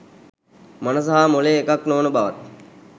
මනස හා මොළය එකක් නොවන බවත්